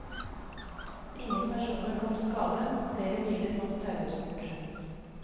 Ingen personer kom til skade, men flere biler måtte taues bort.